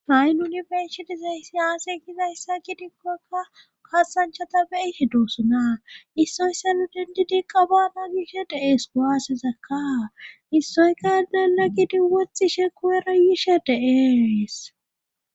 Hay nuuni be'ishe dizayssi aaze gizayssa gidikoka kaasanchata be'ishe doosona. issoysan endidikka baana gishe dee'ees. kuwasezakka issoy yedenna gidi woxishe goyera yishe de'ees.